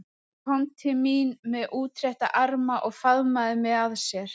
Hann kom til mín með útrétta arma og faðmaði mig að sér.